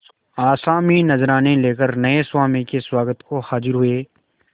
आसामी नजराने लेकर नये स्वामी के स्वागत को हाजिर हुए